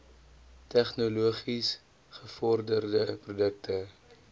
tegnologies gevorderde produkte